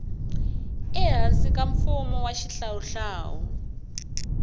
ehansi ka mfumo wa xihlawuhlawu